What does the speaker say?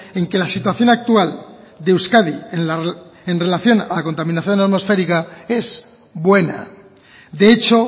en que la situación actual de euskadi en relación a la contaminación atmosférica es buena de hecho